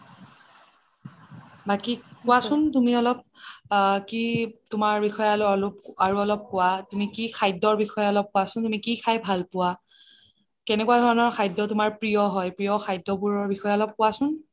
বাকি কোৱাচোন তুমি অলপ কি তুমাৰ বিষয়ে অলপ অৰু অলপ কোৱা তুমি কি খাদ্যৰ বিষয়ে অলপ কোৱাচোন তুমি কি খাদ্য খাই ভাল পোৱা কেনেকুৱা ধৰণৰ খাদ্যবোৰ তুমাৰ প্ৰিয় হয় প্ৰিয় খাদ্যবোৰ বিষয়ে অলপ কোৱাচোন